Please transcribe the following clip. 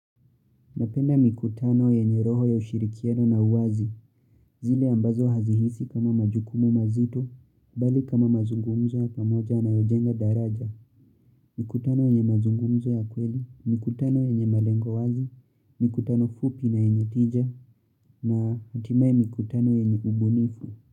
Napenda mikutano yenye roho ya ushirikiano na uwazi, zile ambazo hazihisi kama majukumu mazito, bali kama mazungumzo ya pamoja yanayojenga daraja, mikutano yenye mazungumzo ya kweli, mikutano yenye malengo wazi, mikutano fupi na yenye tija, na hatimai mikutano yenye ubunifu.